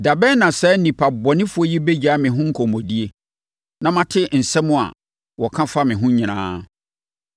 “Da bɛn na saa nnipa bɔnefoɔ yi bɛgyae me ho nkɔmmɔdie? Na mate nsɛm a wɔka fa me ho nyinaa.